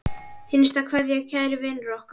HINSTA KVEÐJA Kæri vinur okkar.